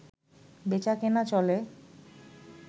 বেচাকেনা চলে